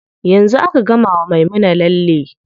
Yanzu aka gama wa Maimuna lalle.